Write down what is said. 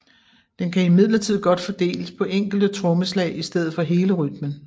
Den kan imidlertid godt fordeles på enkelte trommeslag i stedet for hele rytmen